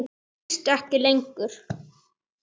Þú berst ekki lengur.